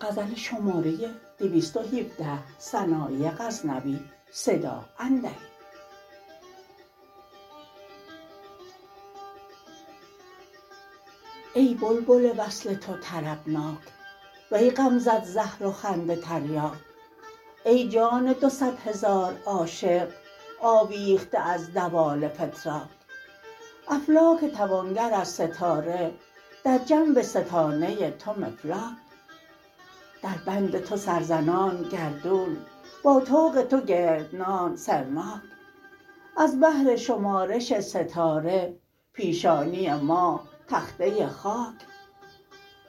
ای بلبل وصل تو طربناک وی غمزت زهر و خنده تریاک ای جان دو صدهزار عاشق آویخته از دوال فتراک افلاک توانگر از ستاره در جنب ستانه تو مفلاک در بند تو سر زنان گردون با طوق تو گردنان سرناک از بهر شمارش ستاره پیشانی ماه تخته خاک